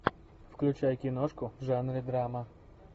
включай киношку в жанре драма